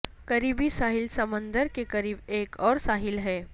قریبی ساحل سمندر کے قریب ایک اور ساحل ہے